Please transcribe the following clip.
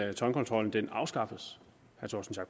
at toldkontrollen afskaffelse